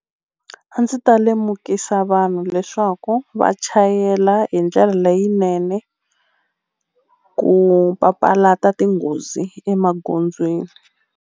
A ndzi ta lemukisa vanhu leswaku va chayela hi ndlela leyinene ku papalata tinghozi emagondzweni.